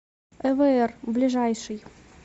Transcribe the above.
эвр ближайший